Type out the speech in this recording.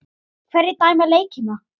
Hverjir dæma leikina?